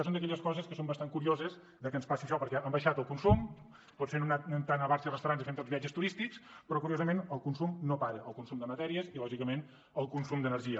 són d’aquelles coses que són bastant curioses que ens passin perquè hem abaixat el consum potser no anem tant a bars i restaurants ni fem tants viatges turístics però curiosament el consum no para el consum de matèries i lògicament el consum d’energia